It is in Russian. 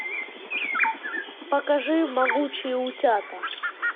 покажи могучие утята